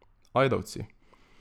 Ajdovci.